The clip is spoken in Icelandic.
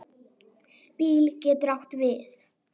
BÍL getur átt við